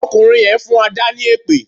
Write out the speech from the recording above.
Ọkùnrin yẹn ń fún Adà ni èpè